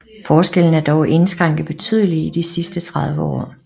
Forskellen er dog indskrænket betydeligt i de sidste 30 år